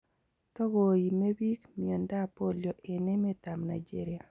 Togo iimee biik miondoab polio en emet ab Nigeria.